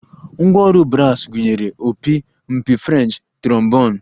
Ngwá ọrụ bras gụnyere opi, mpi French, trombon